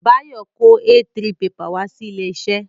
Bayo kó A3 pepà wá sí ilé iṣẹ́